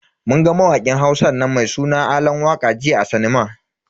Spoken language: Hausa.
Mun ga mawakin Hausan nan mai suna Alan waka jiya a sinima.